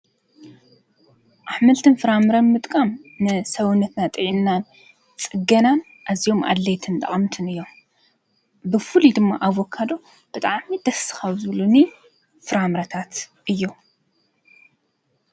ኣሕምልትን ፍራምረ ምጥቃም ንሰውነትና ጥዕናን ጽገናን ኣዚዮም ኣድለየትን ጠቐምትን እዮም፡፡ ብፉሉይ ድማ ኣቨካዶ ብጣዕሚ ደስካብ ዝብሉኒ ፍራምረታት እዮ፡፡